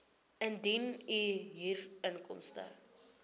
indien u huurinkomste